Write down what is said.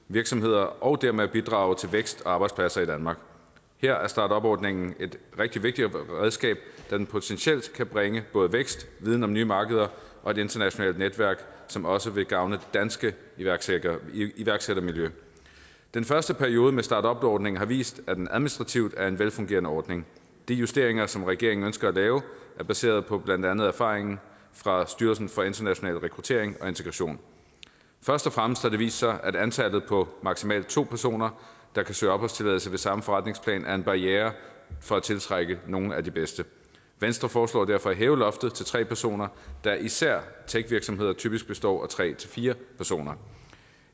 virksomheder og dermed bidrage til vækst og arbejdspladser i danmark her er startupordningen et rigtig vigtigt redskab da den potentielt kan bringe både vækst viden om nye markeder og et internationalt netværk som også vil gavne det danske iværksættermiljø iværksættermiljø den første periode med startupordningen har vist at den administrativt er en velfungerende ordning de justeringer som regeringen ønsker at lave er baseret på blandt andet erfaringen fra styrelsen for international rekruttering og integration først og fremmest har det vist sig at antallet på maksimalt to personer der kan søge opholdstilladelse ved samme forretningsplan er en barriere for at tiltrække nogle af de bedste venstre foreslår derfor at hæve loftet til tre personer da især techvirksomheder typisk består af tre fire personer